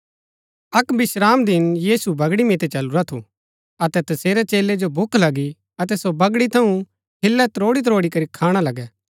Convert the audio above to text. अक्क विश्रामदिन यीशु बगड़ी मितै चलुरा थु अतै तसेरै चेलै जो भूख लगी अतै सो बगड़ी थऊँ हिल्लै त्रोड़ी त्रोड़ी करी खाणा लगै